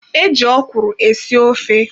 E ji okwuru esi ofe.